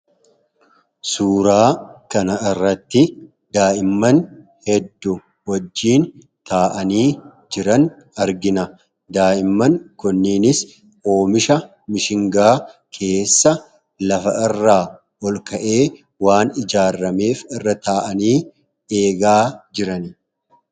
Suuraa kana irratti daa'imman hedduu wajjin taa'anii jiran argina. Daa'imman kunneenis oomisha mishingaa keessa lafa irraa olka'ee waan ijaarameef, irra taa'anii eegaa jirani.